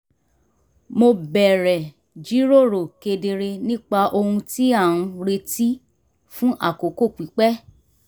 mo bẹ̀rẹ̀ jíròrò kedere nípa ohun tí a ń retí fún àkókò pípẹ́